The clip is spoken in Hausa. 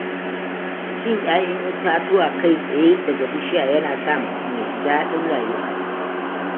Cin ƴaƴaan itatuwa kai tsaye daga bishiya yana sa mutum ya ji daɗin rayuwa.